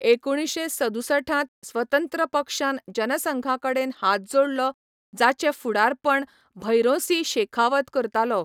एकुणशे सदुसठांत स्वतंत्र पक्षान जनसंघाकडेन हात जोडलो जाचे फुडारपण भैरोंसिंह शेखावत करतालो.